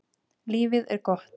Lífið er gott.